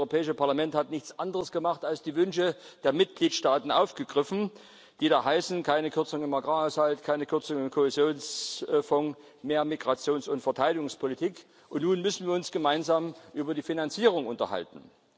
Das Europäische Parlament hat nichts anderes gemacht, als die Wünsche der Mitgliedstaaten aufzugreifen, die da heißen keine Kürzungen im Agrarhaushalt, keine Kürzungen im Kohäsionsfonds, mehr Migrations und Verteidigungspolitik, und nun müssen wir uns gemeinsam über die Finanzierung unterhalten.